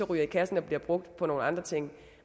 ryge i kassen og blive brugt på nogle andre ting